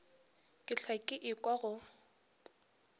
ke hlwa ke ekwa go